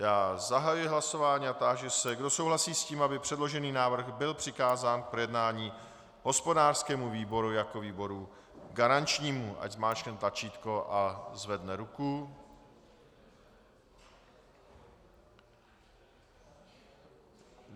Já zahajuji hlasování a táži se, kdo souhlasí s tím, aby předložený návrh byl přikázán k projednání hospodářskému výboru jako výboru garančnímu, ať zmáčkne tlačítko a zvedne ruku.